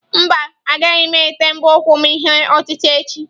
Mba, agaghị m ete mbọ ụkwụ m ihe otite echi.